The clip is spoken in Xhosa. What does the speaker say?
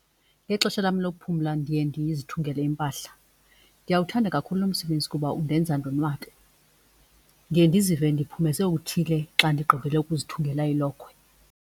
Ngexesha lam lokuphumla ndiye ndizithungele impahla. Ndiyawuthanda kakhulu lo msebenzi kuba undenza ndonwabe. Ndiye ndizive ndiphumeze okuthile xa ndigqibile ukuzithungela ilokhwe.